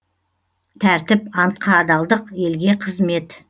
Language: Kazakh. тәртіп антқа адалдық елге қызмет